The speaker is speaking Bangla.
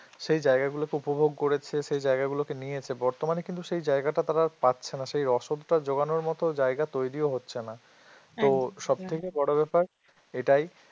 সেই জায়গা গুলোকে উপভোগ করেছে সেই জায়গাগুলোকে নিয়েছে বর্তমানে কিন্তু সেই জায়গাটা তারা পাচ্ছে না সেই রসদটা যোগানোর মতো জায়গা তৈরিও হচ্ছে না তো সবথেকে বড় ব্যাপার এটাই